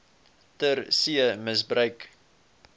ter see misbruik